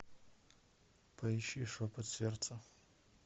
поищи шепот сердца